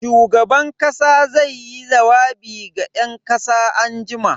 Shugaban kasa zaiyi jawabi ga yan kasa anjima.